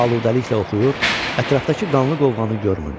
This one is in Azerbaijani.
Aludəliklə oxuyur, ətrafdakı qanlı qovğanı görmürdü.